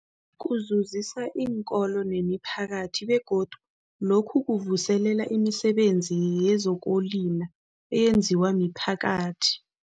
Kuzuzisa iinkolo nemiphakathi begodu lokhu kuvuselela imisebenzi yezokulima eyenziwa miphakathi.